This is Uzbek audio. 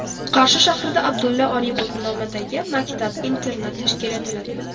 Qarshi shahrida Abdulla Oripov nomidagi maktab-internat tashkil etiladi.